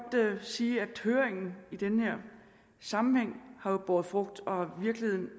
sige at høringen i denne sammenhæng har båret frugt og i virkeligheden